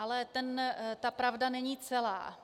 Ale ta pravda není celá.